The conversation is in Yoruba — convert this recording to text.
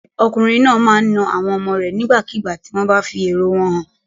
Ọkùnrin náà máa na àwọn ọmọ rẹ̀ nígbàkigbà tí wọ́n bá fi èrò wọn hàn.